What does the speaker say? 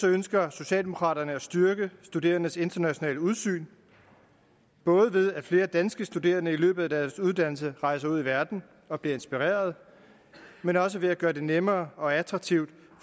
ønsker socialdemokraterne at styrke studerendes internationale udsyn både ved at flere danske studerende i løbet af deres uddannelse rejser ud i verden og bliver inspireret men også ved at gøre det nemmere og mere attraktivt